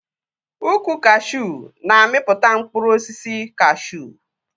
Ukwu kashuu na-amịpụta mkpụrụ osisi kashuu